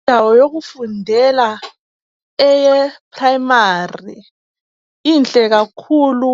Indawo yokufundela eye primary , inhle kakhulu